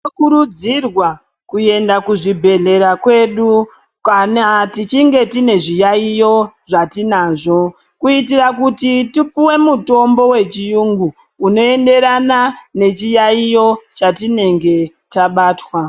Tinokurudzirwa kuenda kuzvibhedhlera kwedu, kana tichinge tine zviyaiyo zvatinazvo, kuitira kuti tipuwe mitombo wechiyungu, unoenderana nechiyaiyo chatinenge tabatwa.